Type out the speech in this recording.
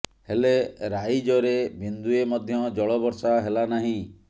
ହେଲେ ରାଇଜରେ ବିନ୍ଦୁଏ ମଧ୍ୟ ଜଳ ବର୍ଷା ହେଲା ନାହିଁ